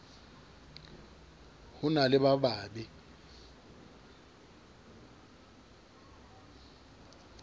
ho na le ba babe